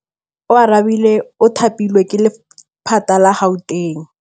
Oarabile o thapilwe ke lephata la Gauteng.